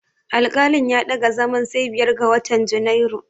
Alƙalin ya ɗaga zaman sai biyar ga watan Junairu.